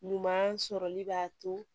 Ɲuman sɔrɔli b'a to